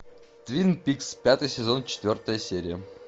твин пикс пятый сезон четвертая серия